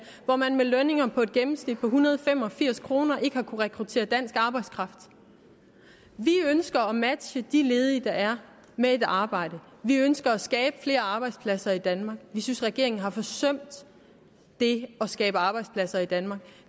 hvor man med lønninger på i gennemsnit en hundrede og fem og firs kroner i timen ikke har kunnet rekruttere dansk arbejdskraft vi ønsker at matche de ledige der er med et arbejde vi ønsker at skabe flere arbejdspladser i danmark vi synes regeringen har forsømt det at skabe arbejdspladser i danmark og